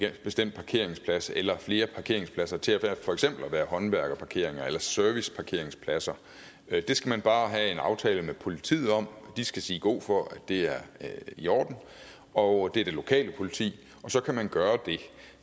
bestemt parkeringsplads eller flere parkeringspladser til at være for eksempel håndværkerparkeringspladser eller serviceparkeringspladser det skal man bare have en aftale med politiet om de skal sige god for at det er i orden og det er det lokale politi og så kan man gøre det